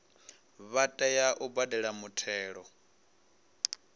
vha tea u badela muthelo